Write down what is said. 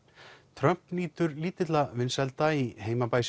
Trump nýtur lítilla vinsælda í